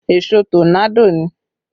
Èṣó tọ́nádò ni